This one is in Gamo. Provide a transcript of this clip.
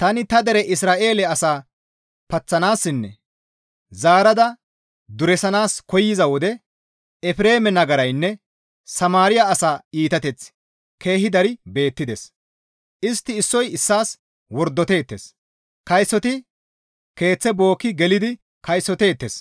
«Tani ta dere Isra7eele asa paththanaassinne zaarada duresanaas koyza wode; Efreeme nagaraynne Samaariya asa iitateththi keehi dari beettides. Istti issoy issaas wordoteettes, kaysoti keeththe bookki gelidi kaysoteettes,